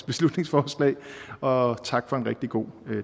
beslutningsforslag og tak for en god